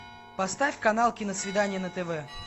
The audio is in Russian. поставь канал киносвидание на тв